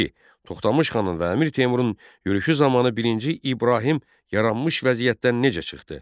İki: Toxtamış xanın və Əmir Teymurun yürüşü zamanı birinci İbrahim yaranmış vəziyyətdən necə çıxdı?